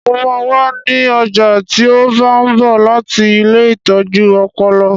Mo máa wà ní ọjà tí ó bá ń bọ̀ láti ilée ìtọ́jú ọpọlọ